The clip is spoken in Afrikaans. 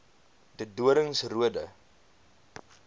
de doorns roode